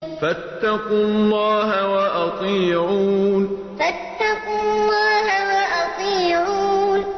فَاتَّقُوا اللَّهَ وَأَطِيعُونِ فَاتَّقُوا اللَّهَ وَأَطِيعُونِ